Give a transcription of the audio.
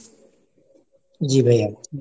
জি ভাইয়া।